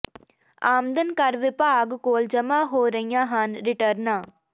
ਆਮਦਨ ਕਰ ਵਿਭਾਗ ਕੋਲ ਜਮ੍ਹਾਂ ਹੋ ਰਹੀਆਂ ਹਨ ਰਿਟਰਨਾਂ